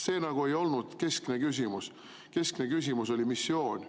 See nagu ei olnud keskne küsimus, keskne küsimus oli missioon.